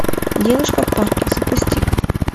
девушка в парке запусти ка